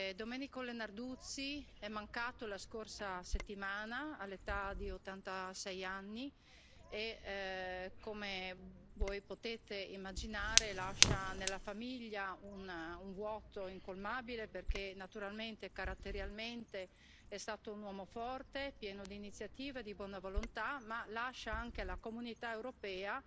Domenico Leonarduzzi è mancato la scorsa settimana all'età di 86 anni e, come voi potete immaginare, lascia nella famiglia un vuoto incolmabile, perché naturalmente caratterialmente è stato un uomo forte, pieno di iniziativa e di buona volontà, ma lascia anche alla Comunità europea